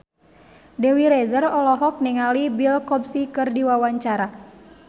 Dewi Rezer olohok ningali Bill Cosby keur diwawancara